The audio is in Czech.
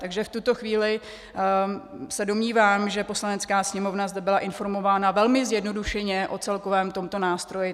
Takže v tuto chvíli se domnívám, že Poslanecká sněmovna zde byla informována velmi zjednodušeně o celkovém tomto nástroji.